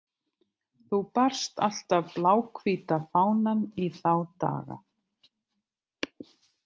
Þú barst alltaf bláhvíta fánann í þá daga.